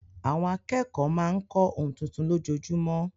Àwọn akẹ́kọ̀ọ́ máa ń kọ́ ohun tuntun lójoojúmọ́.